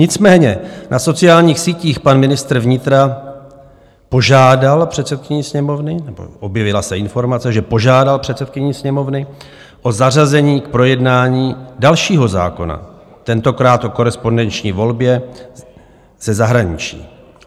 Nicméně na sociálních sítích pan ministr vnitra požádal předsedkyni Sněmovny, nebo objevila se informace, že požádal předsedkyni Sněmovny o zařazení k projednání dalšího zákona, tentokrát o korespondenční volbě ze zahraničí.